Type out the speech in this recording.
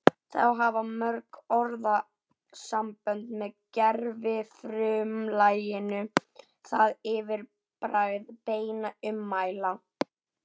Þá hafa mörg orðasambönd með gervifrumlaginu það yfirbragð beinna ummæla